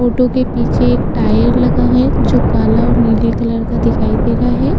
Photo के पीछे एक टायर लगा है जो काला और नीले कलर का दिखाई दे रहा है।